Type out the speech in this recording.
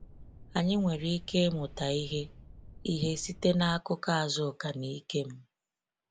Anyị nwere ike ịmụta ihe ihe site n’akụkọ Azuka na Ikem.